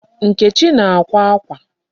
Nkechi na-akwa akwa.